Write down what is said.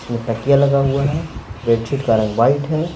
इसमें तकिया लगा हुआ है बेडशीट का रंग वाइट है।